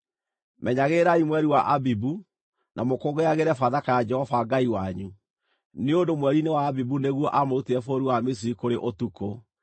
Menyagĩrĩrai mweri wa Abibu na mũkũngũyagĩre Bathaka ya Jehova Ngai wanyu, nĩ ũndũ mweri-inĩ wa Abibu nĩguo aamũrutire bũrũri wa Misiri kũrĩ ũtukũ.